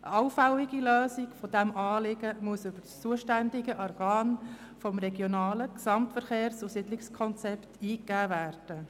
Eine allfällige Lösung dieses Problems muss über das zuständige Organ gemäss dem Regionalen Gesamtverkehrs- und Siedlungskonzept (RGSK) eingegeben werden.